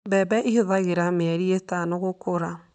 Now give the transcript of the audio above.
Mbembe ĩhũthagĩra mĩeri ĩtano gũkũra.